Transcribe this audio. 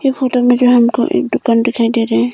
Hotel में जो हमको एक दुकान दिखाई दे रहा है।